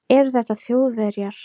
Eru þetta Þjóðverjar?